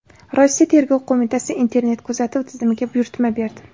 Rossiya Tergov qo‘mitasi internet-kuzatuv tizimiga buyurtma berdi.